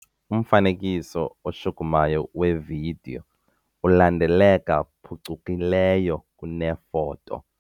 Umfanekiso oshukumayo wevidiyo ulandeleka phucukileyo kunefoto.